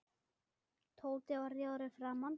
Tóti varð rjóður í framan.